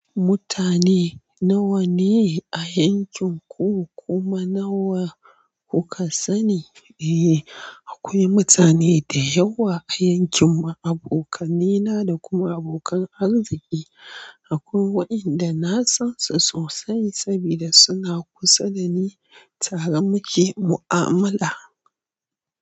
Mutane nawa ne a yankin ku kuma nawa kuka sani? Eh, akwai mutane da yawa a yankin mu, abokan ni na da kuma abokan arziki. Akwai waɗanda na san su sosai saboda suna kusa da ni tare muke mu'amala.